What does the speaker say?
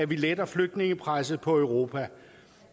vi letter flygtningepresset på europa